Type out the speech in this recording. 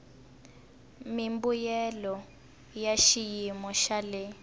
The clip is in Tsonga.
mimbuyelo ya xiyimo xa le